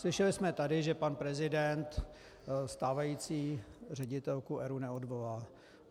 Slyšeli jsme tady, že pan prezident stávající ředitelku ERÚ neodvolá.